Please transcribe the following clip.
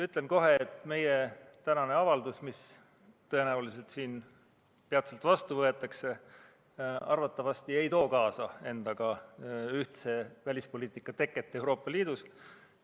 Ütlen kohe, et meie tänane avaldus, mis tõenäoliselt siin peatselt vastu võetakse, arvatavasti ei too endaga kaasa ühtse välispoliitika teket Euroopa Liidus.